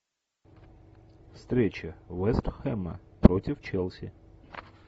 встреча вест хэма против челси